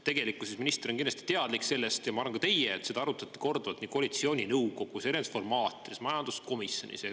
Tegelikkuses minister on kindlasti teadlik sellest – ja ma arvan, et ka teie –, et seda arutati korduvalt koalitsiooninõukogus, erinevates formaatides ja majanduskomisjonis.